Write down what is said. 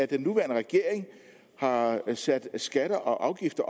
den nuværende regering har sat skatter og afgifter